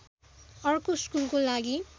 अर्को स्कुलको लागि